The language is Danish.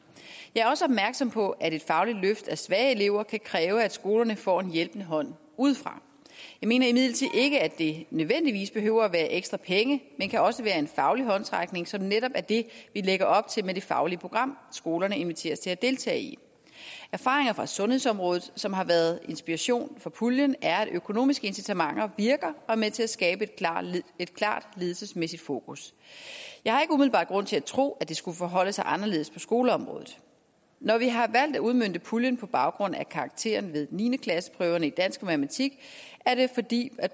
jeg er også opmærksom på at et fagligt løft af svage elever kan kræve at skolerne får en hjælpende hånd udefra jeg mener imidlertid ikke det nødvendigvis behøver være ekstra penge det kan også være en faglig håndsrækning som netop er det vi lægger op til med det faglige program skolerne inviteres til at deltage i erfaringer fra sundhedsområdet som har været inspiration for puljen er at økonomiske incitamenter virker og er med til at skabe et klart ledelsesmæssigt fokus jeg har ikke umiddelbart grund til at tro at det skulle forholde sig anderledes på skoleområdet når vi har valgt at udmønte puljen på baggrund af karaktererne ved niende klasseprøverne i dansk og matematik er det fordi